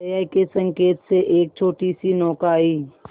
जया के संकेत से एक छोटीसी नौका आई